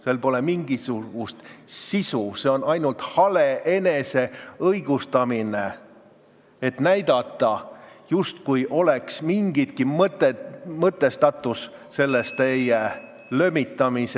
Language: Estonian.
Selles pole mingisugust sisu, see on ainult hale eneseõigustamine, et näidata, justkui oleks selles teie lömitamises mingigi mõtestatus.